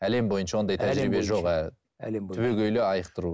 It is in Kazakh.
әлем бойынша ондай түбегейлі айықтыру